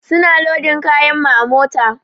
Su na lodin kayan mu a mota.